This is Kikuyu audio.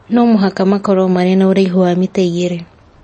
No mũhaka makorũo marĩ na ũraihu wa mita igĩrĩ